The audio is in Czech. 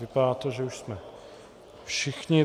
Vypadá to, že už jsme všichni.